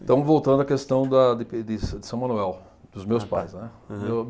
Estamos voltando à questão da de de São Manuel, dos meus pais, né.